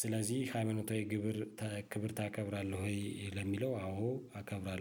ስለዚህ ሃሚኖታዊ ክብር ታከብራለህ? ወይ ለሚለው አዎ አከብራለሁ